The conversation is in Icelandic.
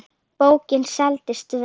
Bókin seldist vel.